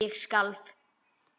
Ég skalf.